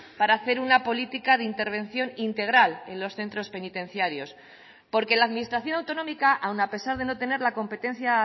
para hacer una política de intervención integral en los centros penitenciarios porque la administración autonómica aun a pesar de no tener la competencia